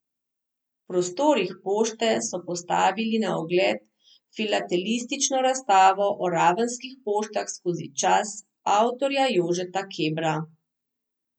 V prostorih pošte so postavili na ogled filatelistično razstavo o ravenskih poštah skozi čas, avtorja Jožeta Kebra.